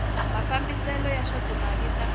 mafambisele ya swa timali ta